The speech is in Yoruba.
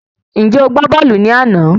Ǹjẹ́ o gbá bọ́ọ̀lù ní àná?